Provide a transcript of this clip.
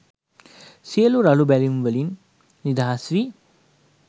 සියලු රළු බැමි වලින් නිදහස් වී